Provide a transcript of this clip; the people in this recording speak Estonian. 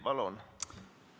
Palun!